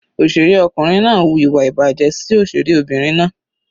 Òṣèré ọkùnrin náà wu ìwà ìbàjẹ́ sí òṣèré Obìnrin náà.